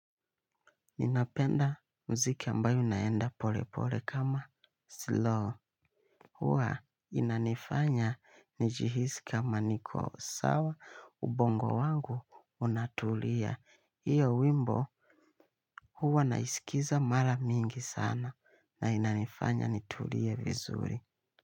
Ninapenda mziki ambayo inaenda pole pole kama slow. Huwa inanifanya nijihisi kama niko sawa ubongo wangu unatulia. Hiyo wimbo huwa naisikiza mara mingi sana na inanifanya nitulie vizuri.